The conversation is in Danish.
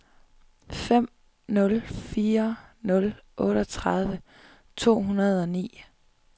fem nul fire nul otteogtredive to hundrede og ni